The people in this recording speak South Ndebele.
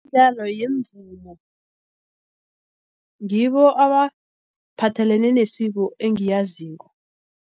ngibo abaphathelene nesiko engiyaziko.